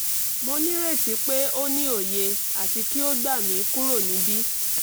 mo nireti pe o ni oye ati ki o gba mi kuro nibi